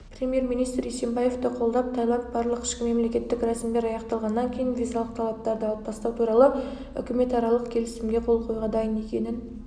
премьер-министр есенбаевты қолдап таиланд барлық ішкі мемлекеттік рәсімдер аяқталғаннан кейін визалық талаптарды алып тастау туралы үкіметаралық келісімге қол қоюға дайын екенін